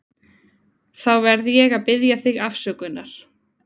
Þá verð ég að biðja þig afsökunar.